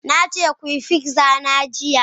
Na ce ku yi pizza na jiya.